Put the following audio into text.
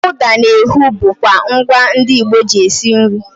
ụda na ehu bụkwa ngwa ndị Igbo ji esi nri